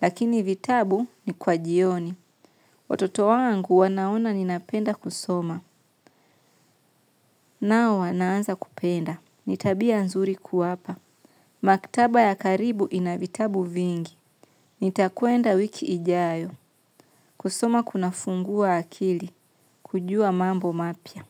lakini vitabu ni kwa jioni. Watoto wangu wanaona ninapenda kusoma. Nao wanaanza kupenda. Ni tabia nzuri kuwapa maktaba ya karibu ina vitabu vingi. Nitakwenda wiki ijayo kusoma kunafungua akili kujua mambo mapya.